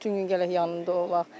Bütün gün gərək yanında olaq.